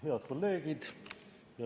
Head kolleegid!